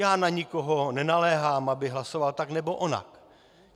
Já na nikoho nenaléhám, aby hlasoval tak nebo onak.